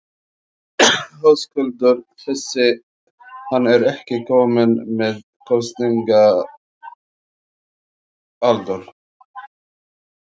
Höskuldur: Þessi, hann er ekki kominn með kosningaaldur?